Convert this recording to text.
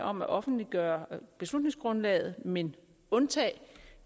om at offentliggøre beslutningsgrundlaget men undtage